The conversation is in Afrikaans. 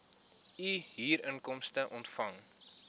u huurinkomste ontvang